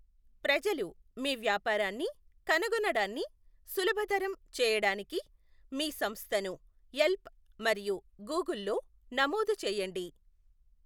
ప్రజలు మీ వ్యాపారాన్ని కనుగొనడాన్ని సులభతరం చేయడానికి మీ సంస్థను యెల్ప్ మరియు గూగుల్లో నమోదు చేయండి.